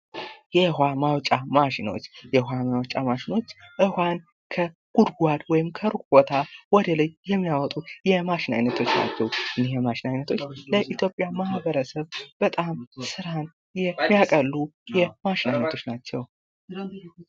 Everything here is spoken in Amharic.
የውሃ ማውጫ ማሽኖች ፦ ውሃን ከጉድጓድ ከሩቅ ቦታ ወደላይ የሚያወጡ ማሽን አይነቶች ናቸው ። እነዚህ የማሽን ዓይነቶች ለኢትዮጵያ ማህበረሰብ በጣም ስራን የሚያቀሉ የማሽን አይነቶች ናቸው ።